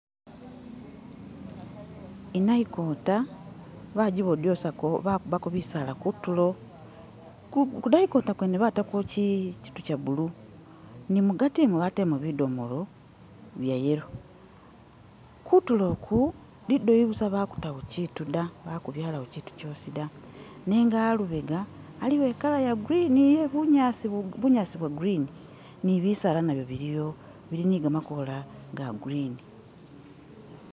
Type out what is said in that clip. I'nayitikoota bajibotosaako bajikubaako bisaala kutulo, ku nayikota kwene bataako kyiitu kya blue, ne mugaati umwo bateleemo bidomolo bya yellow, kutulo uku lidooyi busa bakutaawo kiitu ta, bakubyalawo kyiitu da nenga a'lubega aliwo i'color ya green iye bunyaasi bwa green, ne bisaala nabyo biliwo, bili ne gamakoola ga green.